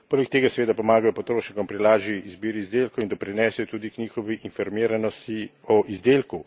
Poleg tega seveda pomagajo potrošnikom pri lažji izbiri izdelkov in doprinesejo tudi k njihovi informiranosti o izdelku.